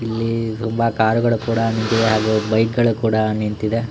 ಇಲ್ಲಿ ತುಂಬಾ ಕಾರ್ ಗಳು ನಿಂತಿವೆ ಹಾಗು ಬೈಕ್ ಗಳು ಕೂಡ ನಿಂತಿವೆ.